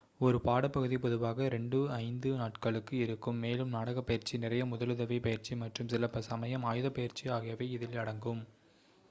ஒரு பாடப்பகுதி பொதுவாக 2-5 நாட்களுக்கு இருக்கும் மேலும் நாடகப் பயிற்சி நிறைய முதலுதவி பயிற்சி மற்றும் சில சமயம் ஆயுதப் பயிற்சி ஆகியவை இதில் அடங்கும்